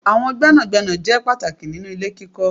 Àwọn gbénàgbénà ṣe pàtàkì nínú ilé kíkọ́.